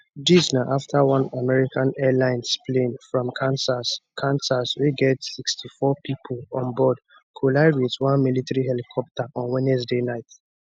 dis na afta one american airlines plane from kansas kansas wey get 64 pipo onboard collide wit one military helicopter on wednesday night